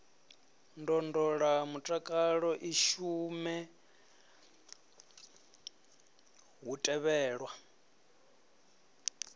ndondolamutakalo i shume hu tevhelwa